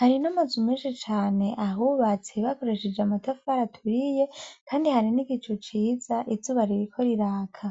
Hari n'amazu menshi cane ahubatse hakoreshejwe amatafari aturiye, kandi hari n'igicu ciza, izuba ririko riraka.